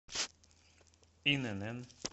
инн